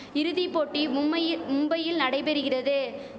இறுதி போட்டி மும்மையிர் மும்பையில் நடைபெறுகிறது